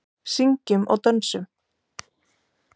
Syngjum og dönsum.